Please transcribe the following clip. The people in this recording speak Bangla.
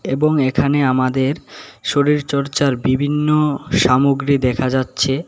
এবং এখানে আমাদের শরীরচর্চার বিভিন্ন সামগ্রী দেখা যাচ্ছে।